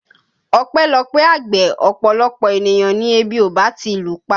Ọpẹ́lọpẹ́ àgbẹ̀ ọ̀pọ̀lọpọ̀ ènìyàn ni ebi ò bá ti lùpa